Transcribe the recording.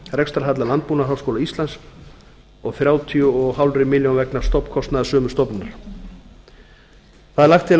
rekstrarhalla landbúnaðarháskóla íslands og þrjátíu og hálf milljón vegna stofnkostnaðar sömu stofnunar það er lagt til að